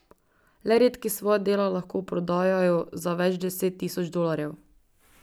Le redki svoja dela lahko prodajajo za več deset tisoč dolarjev.